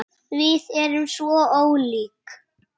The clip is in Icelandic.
Við erum svo ólík.